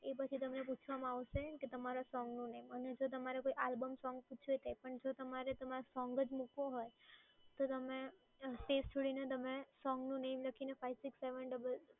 એ પછી તમને પૂછવામાં આવશે કે તમારા સોંગનું name અને જો તમારે કોઈ આલ્બમ સોંગ પૂછવું હોય તે પણ જો તમારે તમારે સોંગ જ મૂકવું હોય તો તમે સ્પેસ છોડીને તમે સોંગનું name લખીને five six seven double